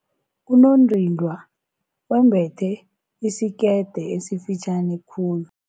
Unondindwa wembethe isikete esifitjhani khulu.